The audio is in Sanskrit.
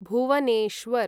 भुवनेश्वर्